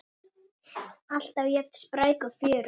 Alltaf jafn spræk og fjörug.